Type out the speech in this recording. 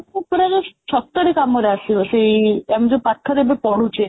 ସବୁ ପୁରା ସତରେ କାମରେ ଆସିବ ସେଇ ଆମେ ଯୋଉ ପାଠରେ ଏବେ ପଢ଼ୁଛେ